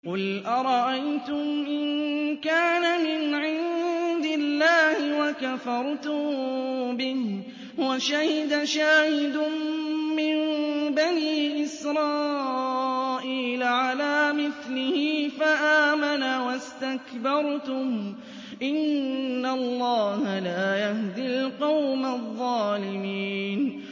قُلْ أَرَأَيْتُمْ إِن كَانَ مِنْ عِندِ اللَّهِ وَكَفَرْتُم بِهِ وَشَهِدَ شَاهِدٌ مِّن بَنِي إِسْرَائِيلَ عَلَىٰ مِثْلِهِ فَآمَنَ وَاسْتَكْبَرْتُمْ ۖ إِنَّ اللَّهَ لَا يَهْدِي الْقَوْمَ الظَّالِمِينَ